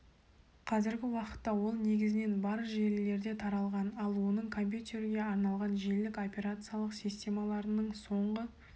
қазіргі уақытта ол негізінен бар желілерде таралған ал оның компьютерге арналған желілік операциялық системаларының соңғы